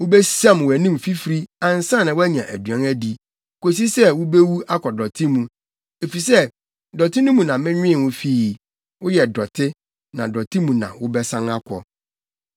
Wubesiam wʼanim fifiri ansa na woanya aduan adi, kosi sɛ wubewu akɔ dɔte mu, efisɛ dɔte no mu na menwen wo fii; woyɛ dɔte, na dɔte mu na wobɛsan akɔ.”